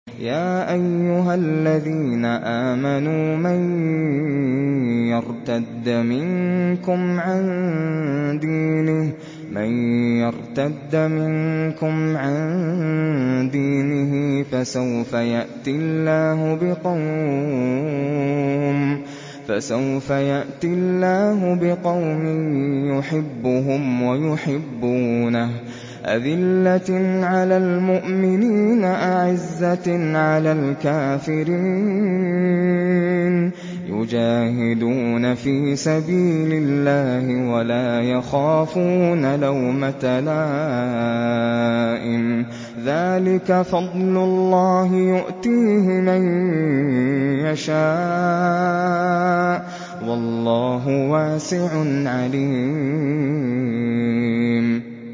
يَا أَيُّهَا الَّذِينَ آمَنُوا مَن يَرْتَدَّ مِنكُمْ عَن دِينِهِ فَسَوْفَ يَأْتِي اللَّهُ بِقَوْمٍ يُحِبُّهُمْ وَيُحِبُّونَهُ أَذِلَّةٍ عَلَى الْمُؤْمِنِينَ أَعِزَّةٍ عَلَى الْكَافِرِينَ يُجَاهِدُونَ فِي سَبِيلِ اللَّهِ وَلَا يَخَافُونَ لَوْمَةَ لَائِمٍ ۚ ذَٰلِكَ فَضْلُ اللَّهِ يُؤْتِيهِ مَن يَشَاءُ ۚ وَاللَّهُ وَاسِعٌ عَلِيمٌ